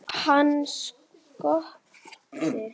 Hann Skapti!